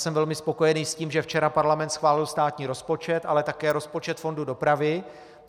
Jsem velmi spokojený s tím, že včera parlament schválil státní rozpočet, ale také rozpočet fondu dopravy.